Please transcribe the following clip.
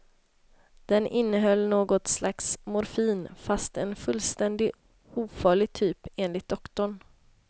Den innehöll något slags morfin fast en fullständigt ofarlig typ enligt doktorn.